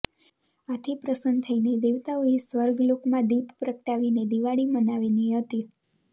આથી પ્રસન્ન થઇને દેવતાઓએ સ્વર્ગ લોકમાં દીપ પ્રગટાવીને દિવાળી મનાવીની હતી